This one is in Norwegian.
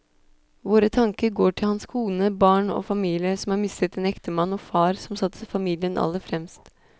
Våre tanker går til hans kone, barn og familie som har mistet en ektemann og far som satte familien aller fremst.